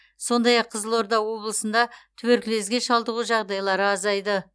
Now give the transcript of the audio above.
сондай ақ қызылорда облысында туберкулезге шалдығу жағдайлары азайды